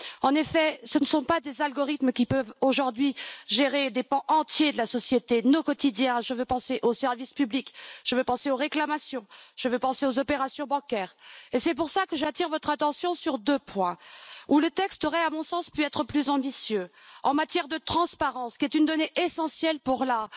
En effet, ce ne sont pas des algorithmes qui peuvent aujourd'hui gérer des pans entiers de la société et de notre quotidien je veux penser aux services publics, aux réclamations, aux opérations bancaires et c'est pour cela que j'attire votre attention sur deux points où le texte aurait, à mon sens, pu être plus ambitieux en matière de transparence. La transparence est une donnée essentielle pour la